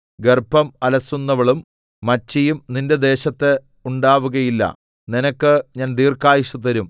ഗർഭം അലസുന്നവളും മച്ചിയും നിന്റെ ദേശത്ത് ഉണ്ടാവുകയില്ല നിനക്ക് ഞാൻ ദീർഘായുസ്സ് തരും